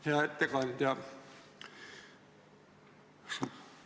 Hea ettekandja!